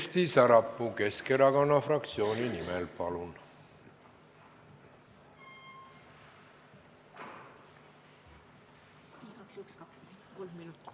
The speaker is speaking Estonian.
Kersti Sarapuu Keskerakonna fraktsiooni nimel, palun!